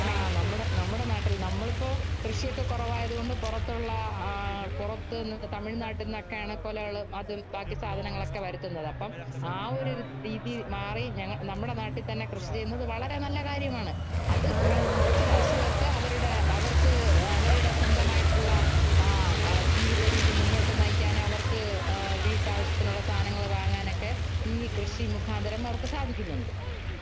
ആ നമ്മുടെ നാട്ടില്‍ നമ്മളിപ്പോ കൃഷിയൊക്കെ കുറവായത് കൊണ്ട് പൊറത്തുള്ള പൊറത്ത് തമിഴ്നാട്ടില്‍ നിന്നൊക്കെയാണ് കൊലകളും, അതും ബാക്കി സാധനങ്ങളൊക്കെ വരുത്തുന്നത്. അപ്പം ആ ഒരു രീതി മാറി നമ്മുടെ നാട്ടില്‍ തന്നെ കൃഷി ചെയ്യുന്നത് വളരെ നല്ല കാര്യമാണ്. അത് കൊറച്ചു കര്‍ഷകര്‍ക്ക് അവരുടെ അവര്‍ക്ക് അവരുടെ സ്വന്തമായിട്ടുള്ള ജീവിതരീതി മുന്നോട്ടു നയിക്കാനും അവര്‍ക്ക് വീട്ടാവശ്യത്തിനുള്ള സാധനങ്ങള്‍ വാങ്ങാനുമൊക്കെ ഈ കൃഷി മുഖാന്തരം അവര്‍ക്ക് സാധിക്കുന്നുണ്ട്